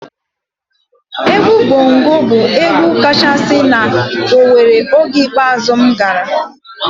Egwu Bongo bụ egwu kachasị na Owere oge ikpeazụ m gara.